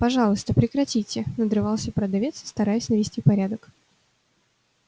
пожалуйста прекратите надрывался продавец стараясь навести порядок